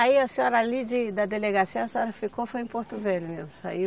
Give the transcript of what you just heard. Aí a senhora ali de, da delegacia, a senhora ficou, foi em Porto Velho, mesmo, saiu